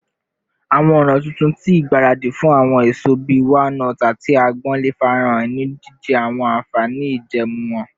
Awọn ọna tuntun ti igbaradi fun awọn eso bii walnuts ati agbon le farahan, ni jijẹ awọn anfani ijẹẹmu wọn